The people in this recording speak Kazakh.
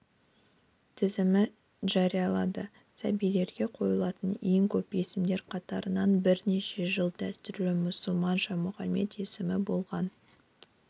тізімін жариялады сәбилерге қойылатын ең көп есімдер қатарынан бірнеше жыл дәстүрлі мұсылманша мұхаммед есімі болған